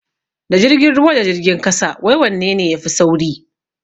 Da jirgin ruwa da jirgin kasa wai wanne ne yafi sauri?